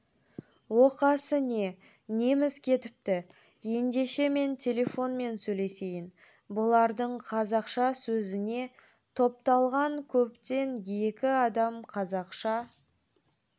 оқасы не неміз кетіпті ендеше мен телефонмен сөйлесейін бұлардың қазақша сөзіне топталған көптен екі адам қазақша